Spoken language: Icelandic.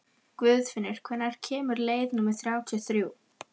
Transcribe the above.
Guðfinnur, hvenær kemur leið númer þrjátíu og þrjú?